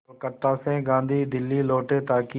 कलकत्ता से गांधी दिल्ली लौटे ताकि